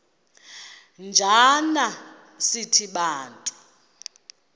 njana sithi bantu